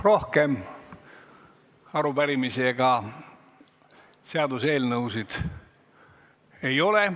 Rohkem arupärimisi ega seaduseelnõusid ei ole.